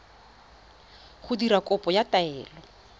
go dira kopo ya taelo